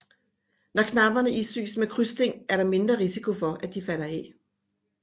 Når knapperne isyes med krydssting er der mindre risiko for at de falder af